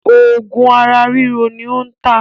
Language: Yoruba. Òògùn ara ríro ni ó ń tà